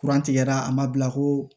tigɛra a ma bila koo